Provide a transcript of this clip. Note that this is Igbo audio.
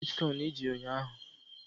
Kedụ nhá swit kọn iji ụnyaahụ?